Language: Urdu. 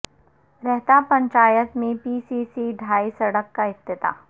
رہتا پنچایت میں پی سی سی ڈھائی سڑک کا افتتاح